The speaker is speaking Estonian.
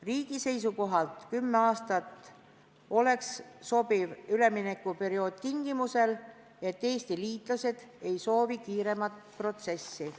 Riigi seisukohalt oleks kümme aastat sobiv üleminekuperiood tingimusel, et Eesti liitlased ei soovi kiiremat protsessi.